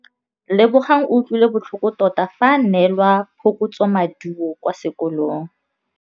Lebogang o utlwile botlhoko tota fa a neelwa phokotsômaduô kwa sekolong.